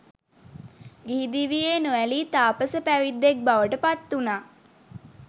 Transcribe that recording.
ගිහි දිවියේ නො ඇලී තාපස පැවිද්දෙක් බවට පත්වුණා.